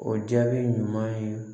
O jaabi ɲuman ye